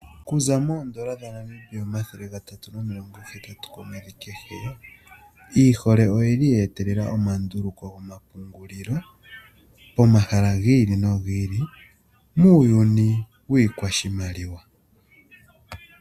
Okuza N$380 komwedhi kehe iihole oye li yeetelela omandululuko gomapungililo pomahala giili nogiili pomahala muuyuni wiikwashimaliwa .